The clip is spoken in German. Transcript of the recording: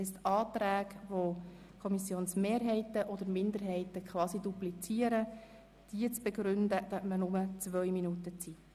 Für Anträge, die die Kommissionsmehrheit oder die Kommissionsminderheit unterstützen, hat man nur zwei Minuten Redezeit.